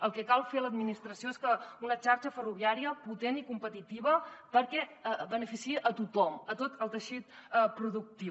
el que cal fer a l’administració és una xarxa ferroviària potent i competitiva perquè beneficiï a tothom a tot el teixit productiu